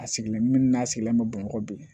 A sigilen min n'a sigilen bɛ bamakɔ bi